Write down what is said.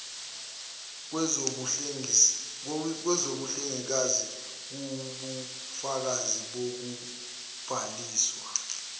kwezobuhlengikazi kuwubufakazi bokubhaliswa